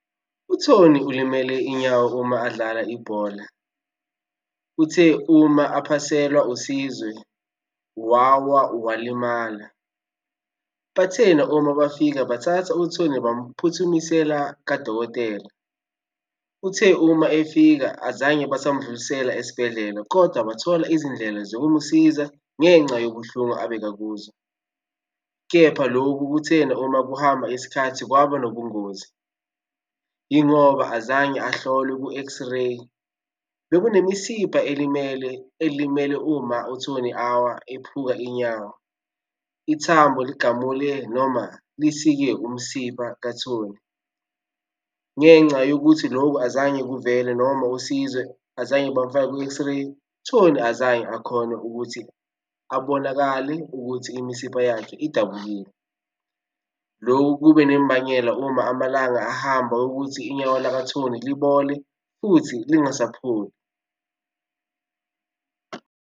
U-Tony ulimele inyawo uma adlala ibhola. Uthe uma aphaselwa uSizwe wawa walimala. Bathena uma bafika bathatha u-Tony bamphuthumisela kadokotela. Uthe uma efika azange basamdlulisela esibhedlela, kodwa bathola izindlela zokumsiza ngenca yobuhlungu abekakuzwa, kepha lokhu kuthena uma kuhamba isikhathi kwaba nobungozi. Yingoba azange ahlolwe ku-X-ray. Bekunemisipha elimele, elimele uma u-Tony awa ephuka inyawo. Ithambo ligamule noma lisike umsipha ka-Tony ngenca yokuthi lokhu azange kuvele noma uSizwe azange bamufake kwi-X-ray. Tony azange akhone ukuthi abonakale ukuthi imisipha yakhe idabukile. Lokhu kube nembangela uma amalanga ahamba ukuthi inyawo laka-Tony libole futhi lingasapholi.